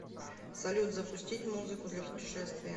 салют запустить музыку для путешествия